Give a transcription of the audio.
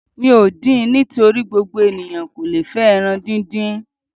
Mi ò din nítorí gbogbo eniyan kó lo fẹ́ ẹran díndín.